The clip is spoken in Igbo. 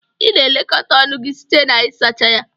Ị na-elekọta ọnụ gị site na ịsacha ya.